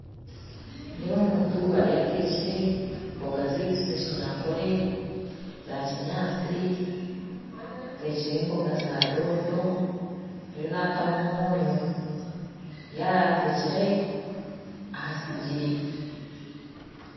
Nindeeba omuntu ariyo atekire embooga zaitu z'ekinyankore eza kinyaatsi atekire embooga za doodo ariyo natamu omwonyo ariyo ateekire aha sigiri